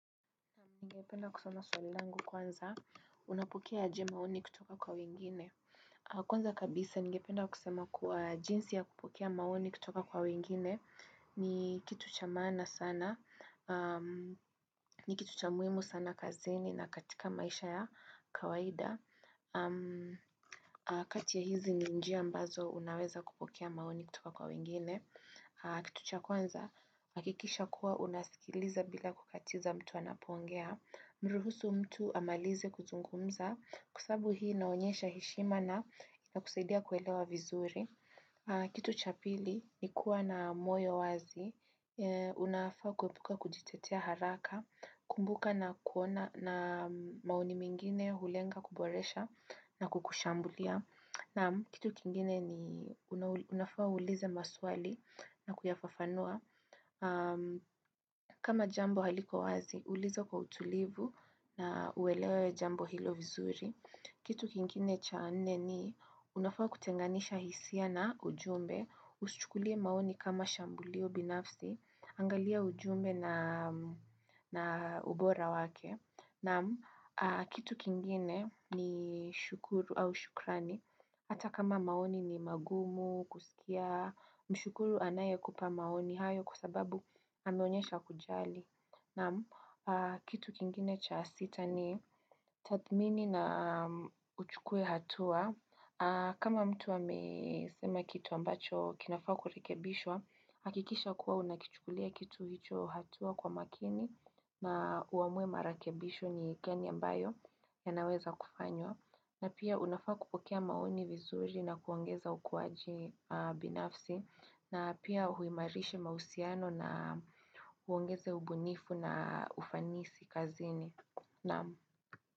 Ningependa kusoma swali langu kwanza. Unapokea aje maoni kutoka kwa wengine. Kwanza kabisa, ningependa kusema kuwa jinsi ya kupokea maoni kutoka kwa wengine ni kitu cha maana sana, ni kitu cha muhimu sana kazini na katika maisha ya kawaida. Kati ya hizi ni njia ambazo unaweza kupokea maoni kutoka kwa wengine. Kitu cha kwanza, hakikisha kuwa unasikiliza bila kukatiza mtu anapoongea. Mruhusu mtu amalize kuzungumza kwa sababu hii inaonyesha heshimana na inakusaidia kuelewa vizuri. Kitu cha pili ni kuwa na moyo wazi, unafaa kuepuka kujitetea haraka, kumbuka maoni mengine hulenga kuboresha na kukushambulia. Naam, kitu kingine ni unafaa uulize maswali na kuyafafanua. Kama jambo haliko wazi, ulizo kwa utulivu na uelewe jambo hilo vizuri kitu kingine cha nne ni, unafaa kutenganisha hisia na ujumbe usichukulie maoni kama shambulio binafsi Angalia ujumbe na ubora wake Naam kitu kingine ni shukuru au shukrani Hata kama maoni ni magumu, kusikia Mshukuru anayekupa maoni hayo kwa sababu ameonyesha kujali. Kitu kingine cha sita ni tathmini na uchukue hatua. Kama mtu amesema kitu ambacho kinafaa kurekebishwa, hakikisha kuwa unakichukulia kitu hicho hatua kwa makini na uamue marakebisho ni gani ambayo yanaweza kufanywa. Na pia unafaa kupokea maoni vizuri na kuongeza ukuaji binafsi na pia uimarishe mahusiano na uongeze ubunifu na ufanisi kazini.